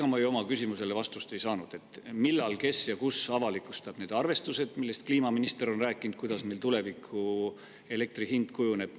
Ega ma ju oma küsimusele vastust ei saanud, et millal, kes ja kus avalikustab need arvestused, millest kliimaminister on rääkinud, kuidas meil tulevikus elektri hind kujuneb.